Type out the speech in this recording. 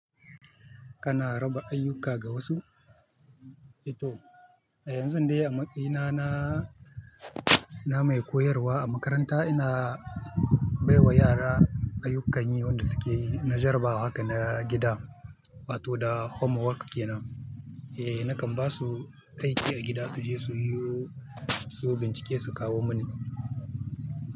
Kana raba ayyuka ga wasu? Eh to, yanzun dai a matsayina na, na mai koyarwa a makaranta ina baiwa yara ayyukan yi wanda suke najarabawa haka na gida wato da homework kenan. Eh nakan ba su aiki da gida suje su yi su bincike su kawo mini.